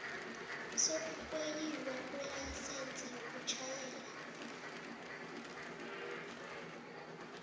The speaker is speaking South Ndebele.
sokurweyilwa kwelayisense yokutjhayela